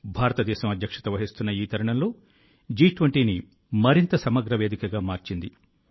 భారతదేశం అధ్యక్షత వహిస్తున్న ఈ తరుణంలో G20ని మరింత సమగ్ర వేదికగా మార్చింది